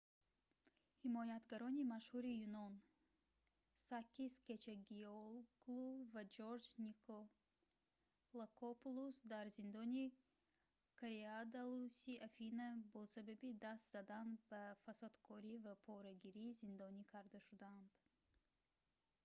ҳимоятгарони машҳури юнон сакис кечагиоглу ва ҷорҷ николакопулус дар зиндони коридаллуси афина бо сабаби даст задан ба фасодкорӣ ва порагирӣ зиндонӣ карда шуданд